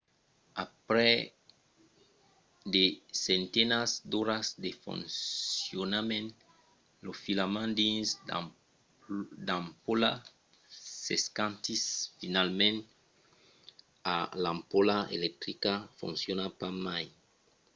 aprèp de centenats d’oras de foncionament lo filament dins l'ampola s'escantís finalament e l'ampola electrica fonciona pas mai